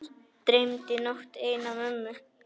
Dreymdi nótt eina mömmu.